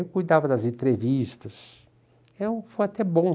Eu cuidava das entrevistas, eu, foi até bom.